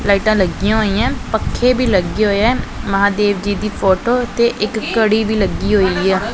ਲਾਈਟਾਂ ਲੱਗੀਆਂ ਹੋਈਆਂ ਪੱਖੇ ਵੀ ਲੱਗੇ ਹੋਇਆ ਮਹਾਦੇਵ ਜੀ ਦੀ ਫੋਟੋ ਤੇ ਇੱਕ ਘੜੀ ਵੀ ਲੱਗੀ ਹੋਈਆ।